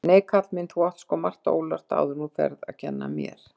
Nei, kall minn, þú átt sko margt ólært áðuren þú ferð að kenn mér.